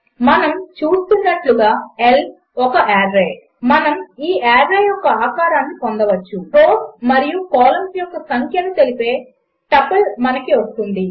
మనము చూస్తున్నట్టుగా L ఒక ఆర్రే మనము ఈ ఆర్రే యొక్క ఆకారమును పొందవచ్చు రోస్ మరియు కాలంస్ యొక్క సంఖ్యను తెలిపే టపుల్ మనకు వస్తుంది